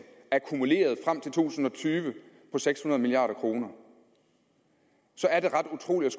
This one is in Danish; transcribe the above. akkumuleret frem til to tusind og tyve på seks hundrede milliard kr så er det ret utroligt